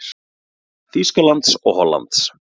Þýskalands og Hollands.